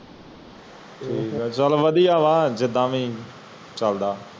ਠੀਕ ਹੈ ਚਾਲ ਵਾਦੀਆਂ ਵਾ ਜਿਦਾ ਵੀ ਚਲਦਾ